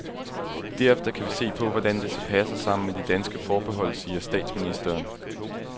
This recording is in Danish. Derefter kan vi se på, hvordan det så passer sammen med de danske forbehold, siger statsministeren.